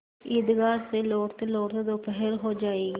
ईदगाह से लौटतेलौटते दोपहर हो जाएगी